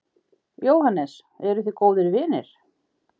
Jóhannes: Eruð þið góðir vinir?